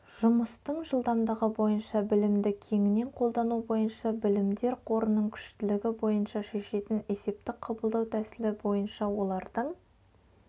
жұмыстың жылдамдығы бойынша білімді кеңінен қолдану бойынша білімдер қорының күштілігі бойынша шешетін есепті қабылдау тәсілі бойынша олардың